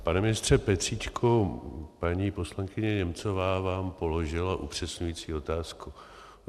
Pane ministře Petříčku, paní poslankyně Němcová vám položila upřesňující otázku.